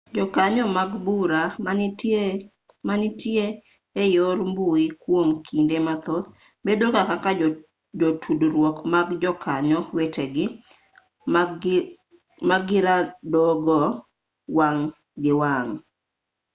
jokanyo mag bura manitie e yor mbui kwom kinde mathoth bedo ga kaka jotudruok mag jokanyo wetegi magiradogo wang' gi wang'